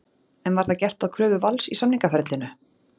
En var það gert að kröfu Vals í samningaferlinu?